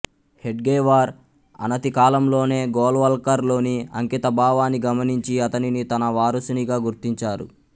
హెడ్గేవార్ అనతికాలంలోనే గోల్వల్కర్ లోని అంకితభావాన్ని గమనించి అతనిని తన వారసునిగా గుర్తించారు